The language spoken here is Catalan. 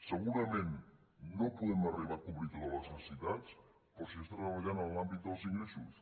segurament no podem arribar a cobrir totes les necessitats però s’està treballant en l’àmbit dels ingressos